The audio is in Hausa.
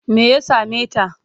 Me ya same ta?